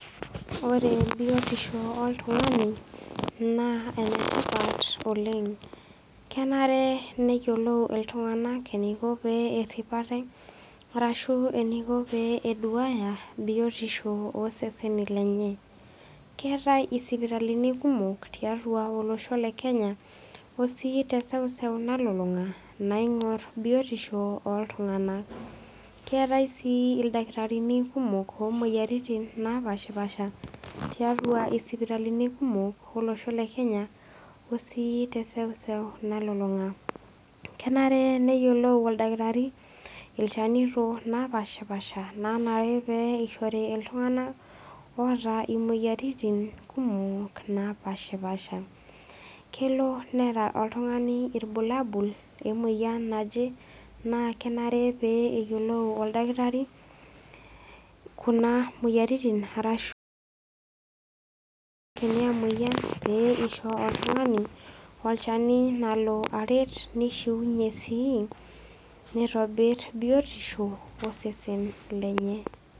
Ore biotisho oltung'a ni naa ene tipat oleng', kenare neyiolou iltung'ana eneiko peerip aate, arashu eneiko pee eduaya biotisho ooseseni lenye. Keatai isipitalini kumok tiatua olosho le Kenya o sii teseuseu nalulung'a, naing'or biotisho oltung'anak. Keatai sii ilakitarini kumok, loomwoyiaritin naapashipasha, tiatua isipitalini kumok, olosho lle Kenya o sii teseuseu nalulung'a. Kenare neyiolou oldakitari ilchanito naa lapaashipasha, loonare pee eishori iltung'anak oata imopyiaritin kumok napashipasha. Kelo neata oltung'ani ilbulabul lemoyian naje, naakenare peyie eyiolou oldakitari kuna moyiaritin arashu elikini aa moyian, pee eisho oltung'ani olchani lalo aret neishuunye sii neitobir biotisho osesen lenye.